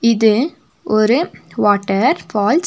இது ஒரு water falls .